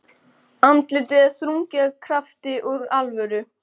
Andlitið er þrungið krafti og alvöru.